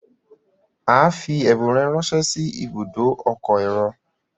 a fí ẹbùn rẹ ránṣẹ sí Ibùdó ọkọ̀ èrò.